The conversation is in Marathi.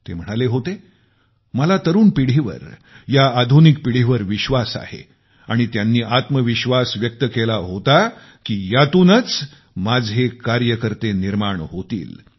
ते म्हणाले होते मला तरुण पिढीवर या आधुनिक पिढीवर विश्वास आहे आणि त्यांनी आत्मविश्वास व्यक्त केला होता की यातूनच माझे कार्यकर्ते निर्माण होतील